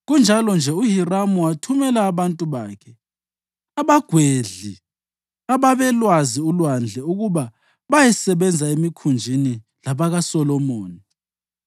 Kunjalo-nje uHiramu wathumela abantu bakhe, abagwedli ababelwazi ulwandle ukuba bayesebenza emikhunjini labakaSolomoni.